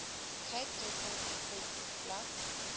cape gateway webblad